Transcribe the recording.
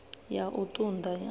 ya u ṱun ḓa ya